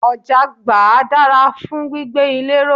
Ọ̀jáàgbá dára fún gbígbé ilé ró.